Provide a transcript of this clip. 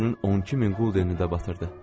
Özünün 12000 quldenini də batırdı.